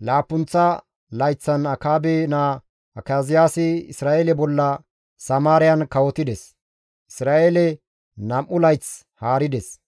laappunththa layththan Akaabe naa Akaziyaasi Isra7eele bolla Samaariyan kawotides; Isra7eele 2 layth haarides.